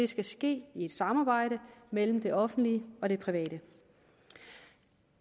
skal ske i et samarbejde mellem det offentlige og det private